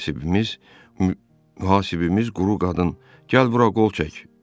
Mühasibimiz quru qadın gəl bura qol çək.